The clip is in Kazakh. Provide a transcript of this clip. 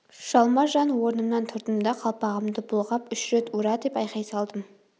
жалма-жан орнымнан тұрдым да қалпағымды бұлғап үш рет ура деп айқай салдым